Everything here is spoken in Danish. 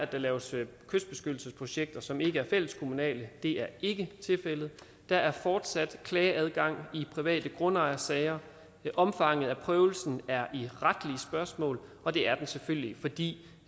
der laves kystbeskyttelsesprojekter som ikke er fælleskommunale det er ikke tilfældet der er fortsat klageadgang i private grundejersager omfanget af prøvelsen er et retligt spørgsmål og det er den selvfølgelig fordi